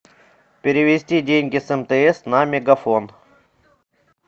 перевести деньги с мтс на мегафон